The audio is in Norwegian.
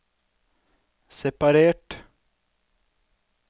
separert